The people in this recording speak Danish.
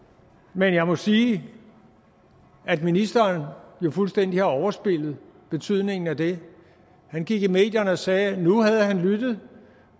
men jeg må sige at ministeren jo fuldstændig har overspillet betydningen af det han gik i medierne og sagde at nu havde han lyttet